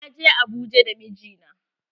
Na je Abuja da mijina.